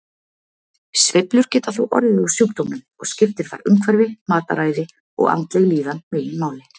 Sveiflur geta þó orðið á sjúkdómnum og skiptir þar umhverfi, mataræði og andleg líðan meginmáli.